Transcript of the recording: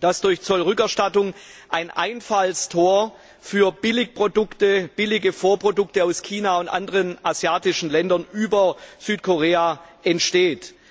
dass durch Zollrückerstattung über Südkorea ein Einfallstor für Billigprodukte, billige Vorprodukte aus China und aus anderen asiatischen Ländern entsteht.